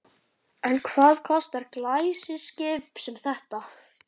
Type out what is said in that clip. En hvað kostar glæsiskip sem þetta?